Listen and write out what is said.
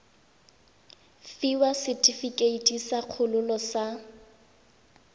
fiwa setefikeiti sa kgololo sa